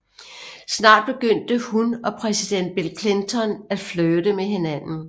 Snart begyndte hun og præsident Bill Clinton at flirte med hinanden